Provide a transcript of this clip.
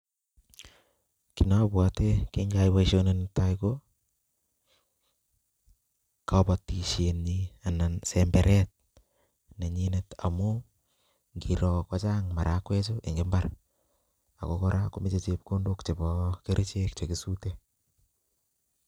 Kit nobwote kikayai boishoni netai ko kobotishe nyin anan semberet nenyinet amun ngiroo ko Chang marakwek chuu en imbar ako Koraa ko moche chepkondok chebo kerichek chekisuten.